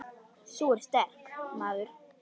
Sú er sterk, maður!